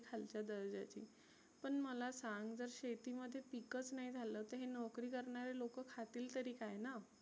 खालच्या दर्जेची. पण मला सांंग जर शेतीमध्ये पिकच नाही झालं तर हे नोकरी करणारे लोक खातील तरी काय ना.